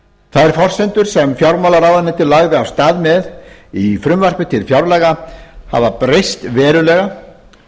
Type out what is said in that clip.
þær forsendur sem fjármálaráðuneytið lagði af stað með í frumvarpi til fjárlaga hafa breyst verulega